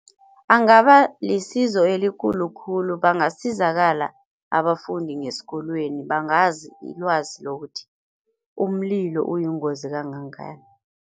Angaba lisizo elikhulu khulu bangasizakala abafundi ngesikolweni bangazi ilwazi lokuthi umlilo uyingozi kangangani.